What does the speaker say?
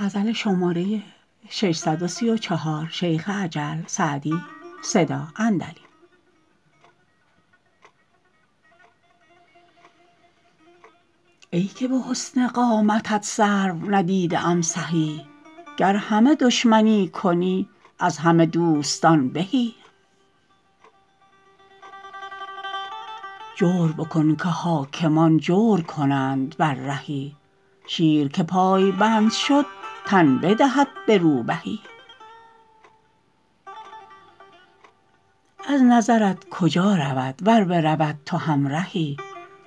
ای که به حسن قامتت سرو ندیده ام سهی گر همه دشمنی کنی از همه دوستان بهی جور بکن که حاکمان جور کنند بر رهی شیر که پایبند شد تن بدهد به روبهی از نظرت کجا رود ور برود تو همرهی